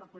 molt